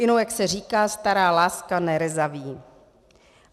Inu, jak se říká, stará láska nerezaví.